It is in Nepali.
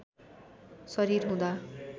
शरीर हुँदा